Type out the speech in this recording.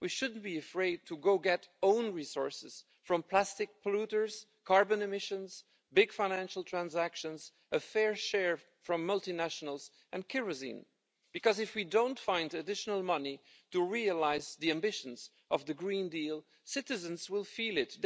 We shouldn't be afraid to go and get own resources from plastic polluters, carbon emissions, big financial transactions, and a fair share from multinationals and kerosene because, if we don't find additional money to realise the ambitions of the Green Deal, citizens will feel it.